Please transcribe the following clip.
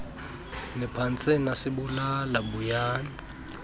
niphantse nasibulala buyani